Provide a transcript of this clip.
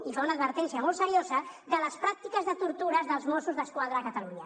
i fa una advertència molt seriosa de les pràctiques de tortures dels mossos d’esquadra a catalunya